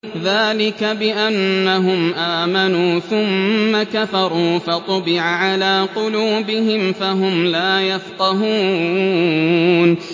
ذَٰلِكَ بِأَنَّهُمْ آمَنُوا ثُمَّ كَفَرُوا فَطُبِعَ عَلَىٰ قُلُوبِهِمْ فَهُمْ لَا يَفْقَهُونَ